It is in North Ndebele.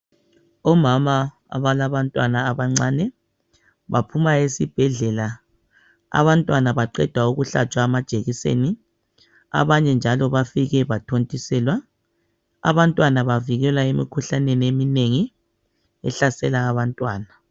Omama abalabantwana abancane ,baphuma esibhedlela . Abantwana baqedwa ukuhlatshwa amajekiseni ,abanye njalo bafike bathontiselwa. Abantwana bavikelwa emikhuhlaneni eminengi ehlasela abantwana.